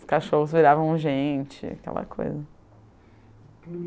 Os cachorros viravam gente, aquela coisa.